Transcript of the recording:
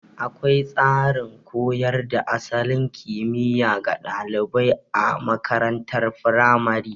Akwai tsarin koyar da asalin kimiya ga ɗalibai a makarantar firamare.